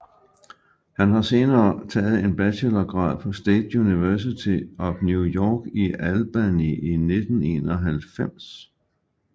Han har senere taget en bachelorgrad på State University of New York i Albany i 1991